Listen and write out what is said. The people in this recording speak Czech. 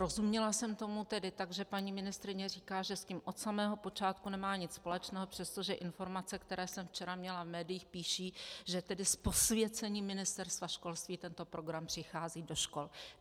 Rozuměla jsem tomu tedy tak, že paní ministryně říká, že s tím od samého počátku nemá nic společného, přestože informace, které jsem včera měla v médiích, píší, že tedy s posvěcením Ministerstva školství tento program přichází do škol.